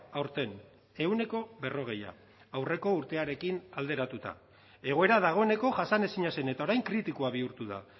aurten ehuneko berrogeia aurreko urtearekin alderatuta egoera dagoeneko jasanezina zen eta orain kritikoa bihurtu da